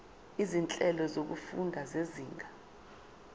izinhlelo zokufunda zezinga